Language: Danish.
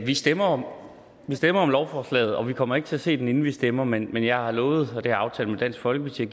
vi stemmer om stemmer om lovforslaget og vi kommer ikke til at se den inden vi stemmer men jeg har lovet det har jeg aftalt med dansk folkeparti